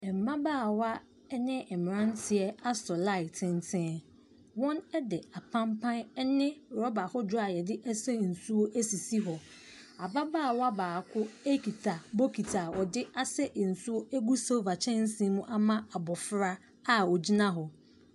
Mmabaawa ne mmeranteɛ asa line tenten. Wɔde apampan ne rɔba ahodoɔ a wɔde sa nsuo asisi hɔ. Ababaawa baako kita bokiti a wɔde asa nsuo agu silver kyɛnse mu ama abɔfra a ɔgyina hɔ.